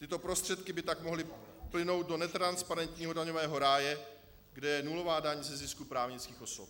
Tyto prostředky by tak mohly plynout do netransparentního daňového ráje, kde je nulová daň ze zisku právnických osob.